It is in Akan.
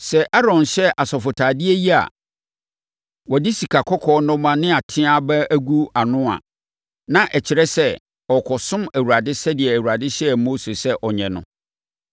Sɛ Aaron hyɛ asɔfotadeɛ yi a wɔde sikakɔkɔɔ nnɔmma ne ateaa aba agu ano a, na ɛkyerɛ sɛ ɔrekɔsom Awurade sɛdeɛ Awurade hyɛɛ Mose sɛ ɔnyɛ no.